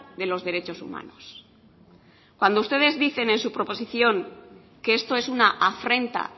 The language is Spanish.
de los derechos humanos cuando ustedes dicen en su proposición que esto es una afrenta